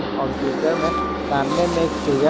computer में सामने में एक फिगर --